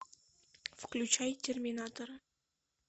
включай терминатора